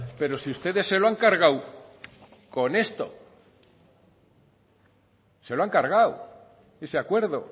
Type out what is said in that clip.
pero si ustedes se lo han cargado con esto se lo han cargado ese acuerdo